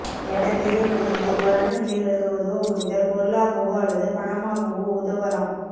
என தேவைப்படுகிறது இவ்வாரான பிள்ளைகளுக்கு உதவ முடிந்தால் பொருளாகவோ அல்லது பணமாகவோ உதவலாம்